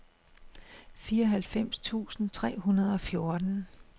fireoghalvfems tusind tre hundrede og fjorten